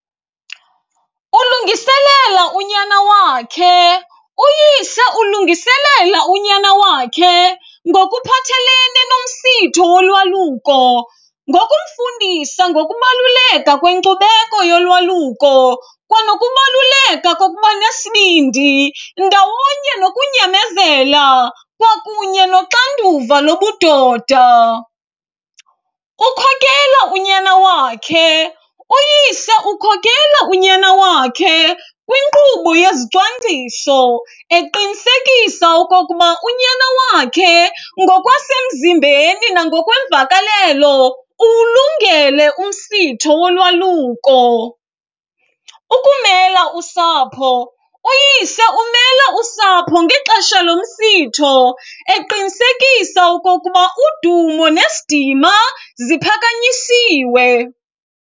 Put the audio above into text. Ulungiselela unyana wakhe, uyise ulungiselela unyana wakhe ngokuphathelene nomsitho wolwaluko ngokumfundisa ngokubaluleka kwenkcubeko yolwaluko kwanokubaluleka kokuba nesibindi ndawonye nokunyamezela kwakunye noxanduva lobudoda. Ukhokela unyana wakhe, uyise ukhokela unyana wakhe kwinkqubo yezicwangciso eqinisekisa okokuba unyana wakhe ngokwasemzimbeni nangokweemvakalelo uwulungele umsitho wolwaluko. Ukumela usapho, uyise umela usapho ngexesha lomsitho eqinisekisa okokuba udumo nesidima ziphakanyisiwe.